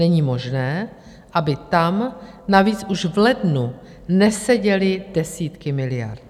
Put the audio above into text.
Není možné, aby tam, navíc už v lednu, neseděly desítky miliard.